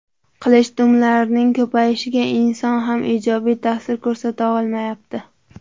Qilichdumlarning ko‘payishiga inson ham ijobiy ta’sir ko‘rsata olmayapti.